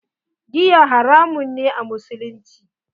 Giya haramun ne a musulunci.